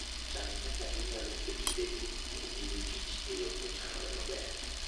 Chan kaka inyalo keto lewni kod gige tich e yo mochanore maber.